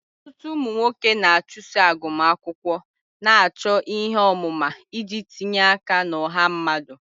Ọtụtụ ụmụ nwoke na-achụso agụmakwụkwọ, na-achọ ihe ọmụma iji tinye aka na ọha mmadụ.